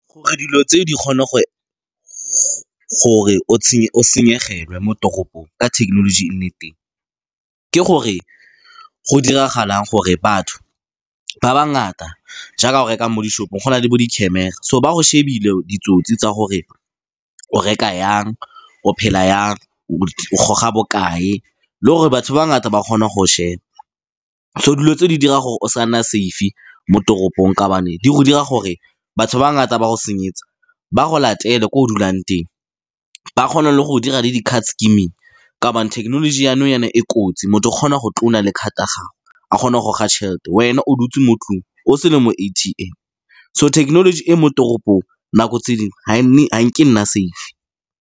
Gore dilo tseo di kgone gore o senyegelwe mo toropong ka thekenoloji e nne teng, ke gore go diragalang gore batho ba ba ngata jaaka o rekang mo di-shop-ong go na le bo di-camera so ba go shebile ditsotsi tsa gore o reka jang, o phela jang, o go ga bokae, le gore batho ba ngata ba kgona go go sheba. So, dilo tse di dira gore o sa nna safe-e mo toropong ka gobane di go dira gore batho ba ngata ba go senyetsa ba go latele ko o dulang teng ba kgona le go dira le di-card scamming ka gobane thekenoloji ya nou jaana e kotsi, motho o kgona go clone-a le card ya gago a kgona go goga tšhelete wena o dutse mo 'tlong o se le mo A_T_M. So, technology e mo toropong nako tse dingwe ga nke e nna safe-e.